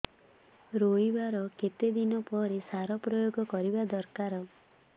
ରୋଈବା ର କେତେ ଦିନ ପରେ ସାର ପ୍ରୋୟାଗ କରିବା ଦରକାର